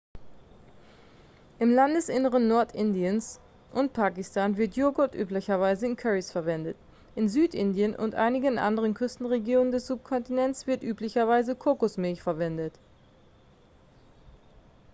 im landesinneren nordindiens und pakistans wird joghurt üblicherweise in currys verwendet in südindien und einigen anderen küstenregionen des subkontinents wird üblicherweise kokosmilch verwendet